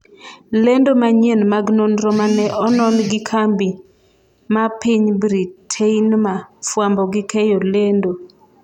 lendo manyien mag nonro mane onon gi kambi ma piny Britainmar fwambo gi keyo lendo